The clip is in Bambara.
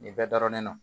Nin bɛɛ daronen don